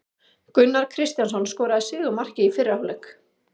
Gunnar Kristjánsson skoraði sigurmarkið í fyrri hálfleik.